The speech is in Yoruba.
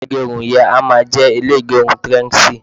ilé igerun yen a máa je ile igerun trendzy